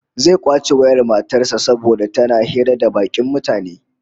Zai kwace wayar matar sa saboda tana hira da bakin mutane